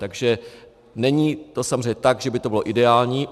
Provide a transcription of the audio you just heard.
Takže není to samozřejmě tak, že by to bylo ideální.